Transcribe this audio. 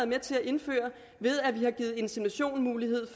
med til at indføre ved at vi har givet inseminationsmulighed